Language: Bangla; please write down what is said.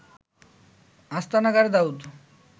আস্তানা গাড়ে দাউদ